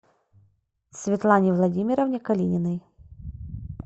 светлане владимировне калининой